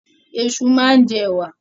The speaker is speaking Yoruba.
Ẹ̀ṣu máa ń jẹ ẹ̀wà.